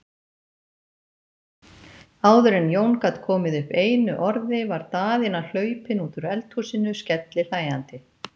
Áður en Jón gat komið upp einu orði var Daðína hlaupin út úr eldhúsinu, skellihlæjandi.